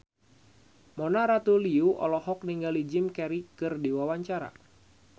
Mona Ratuliu olohok ningali Jim Carey keur diwawancara